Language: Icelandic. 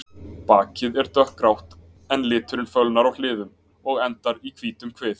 Bakið er dökkgrátt en liturinn fölnar á hliðum og endar í hvítum kvið.